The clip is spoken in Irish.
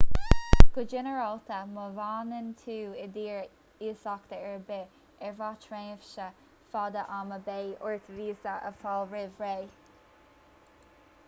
go ginearálta má fhanann tú in dtír iasachta ar bith ar feadh tréimhse fada ama beidh ort víosa a fháil roimh ré